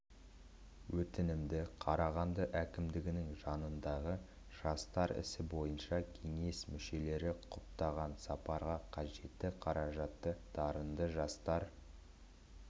өтінімді қарағанды әкімдігінің жанындағы жастар ісі бойынша кеңес мүшелері құптаған сапарға қажетті қаражатты дарынды жастар